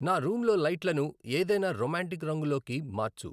నా రూంలో లైట్లను ఏదైనా రొమాంటిక్ రంగులోకి మార్చు